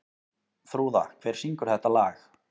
Þrúða, hver syngur þetta lag?